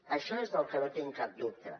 això és del que no tinc cap dubte